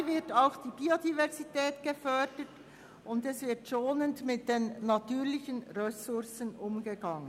Dabei wird auch die Biodiversität gefördert, und es wird schonend mit den natürlichen Ressourcen umgegangen.